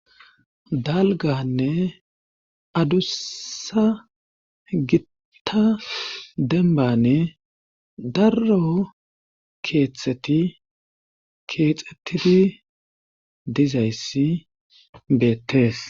Dalgganne aduusa gitta dembbani daro keethati keexetidi dizaysssi beetees.